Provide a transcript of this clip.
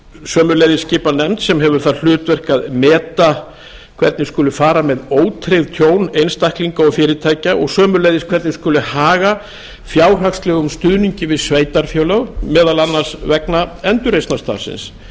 sömuleiðis skipað nefnd sem hefur það hlutverk að meta hvernig skuli fara með ótryggð tjón einstaklinga og fyrirtækja og sömuleiðis hvernig skuli haga fjárhagslegum stuðningi við sveitarfélög meðal annars vegna endurreisnarstarfsins